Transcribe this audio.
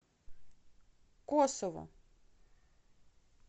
косову